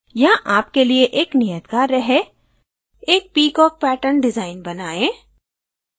यहाँ आपके लिए एक नियत कार्य है एक peacock मोर pattern डिज़ाइन बनाएं